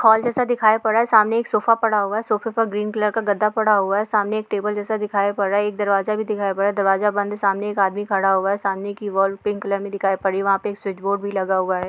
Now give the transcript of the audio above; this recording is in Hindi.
हॉल जैसा दिखाई पड़ रहा है सामने एक सोफ़ा पड़ा हुआ है सोफे पर ग्रीन कलर गद्दा पड़ा हुआ है सामने एक टेबल दिखाई पड़ रहा है एक दरवाज़ा भी दिखाई पड़ रहा है दरवाज़ा बंद है सामने एक आदमी खड़ा हुआ है सामने की वाल पिंक कलर में दिखाई पड़ रही वहाँ पर स्विच बोर्ड भी लगा हुआ है।